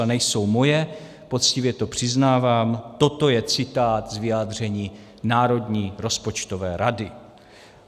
A nejsou moje, poctivě to přiznávám, toto je citát z vyjádření Národní rozpočtové rady.